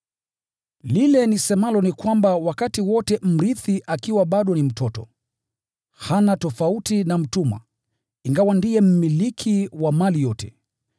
Lile nisemalo ni kwamba wakati wote mrithi bado ni mtoto, hana tofauti na mtumwa, ingawa ndiye mmiliki wa mali yote.